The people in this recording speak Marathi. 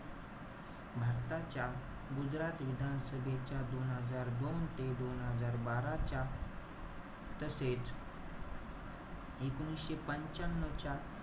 भारताच्या गुजरात विधान सभेच्या दोन हजार दोन ते दोन हजार बारा च्या, तसेच एकोणीशे पंच्यान्यव च्या,